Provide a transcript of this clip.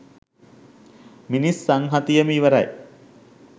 මිනිස් සංහතියම ඉවරයි